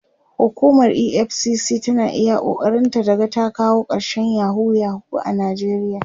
hukumar EFCC tana iya ƙoƙarin ta ta ga ta kawo karshen yahoo yahoo a nijeriya